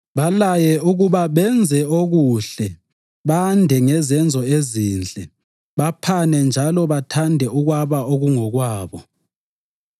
Balaye ukuba benze okuhle, bande ngezenzo ezinhle, baphane njalo bathande ukwaba okungokwabo.